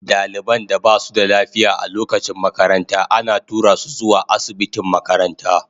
Daliban da ba su da lafiya a lokacin makaranta ana tura su zuwa asibitin makaranta.